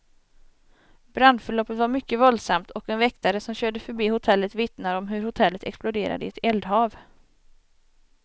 Brandförloppet var mycket våldsamt, och en väktare som körde förbi hotellet vittnar om hur hotellet exploderade i ett eldhav.